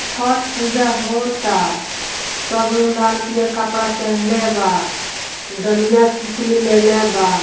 छट पूजा होता सब लोग लाल पीयर कपड़ा पेहेनले बा डालियाँ शीपुली भी लेले बा।